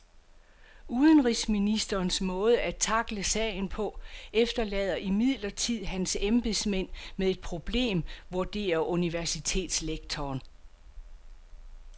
Udenrigsministerens måde at tackle sagen på efterlader imidlertid hans embedsmænd med et problem, vurderer universitetslektoren.